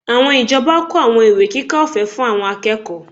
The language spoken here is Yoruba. Àwọn ìjọba kó àwọn ìwé kíkà ọ̀fẹ́ fún àwọn akẹ́kọ̀ọ́